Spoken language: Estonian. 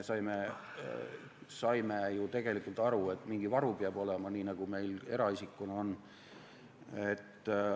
Me saime ju tegelikult aru, et mingi varu peab olema, nii nagu meil eraisikutena on.